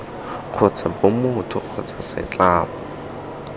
kgotsa b motho kgotsa setlamo